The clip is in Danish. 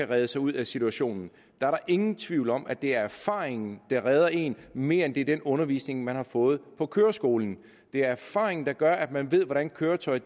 redde sig ud af situationen der er ingen tvivl om at det er erfaringen der redder en mere end det er den undervisning man har fået på køreskolen det er erfaringen der gør at man ved hvordan køretøjet